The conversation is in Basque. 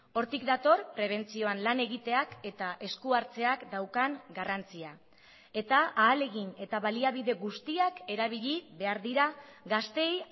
hortik dator prebentzioan lan egiteak eta esku hartzeak daukan garrantzia eta ahalegin eta baliabide guztiak erabili behar dira gazteei